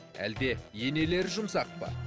әлде енелері жұмсақ па